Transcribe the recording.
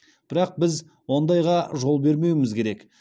бірақ біз ондайға жол бермеуіміз керек